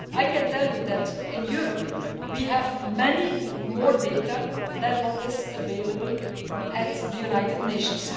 I can tell you that in Europe we have much more data than is available at the United Nations.